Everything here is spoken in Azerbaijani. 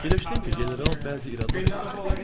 Fikirləşdim ki, general bəzi iradlar eləyəcək.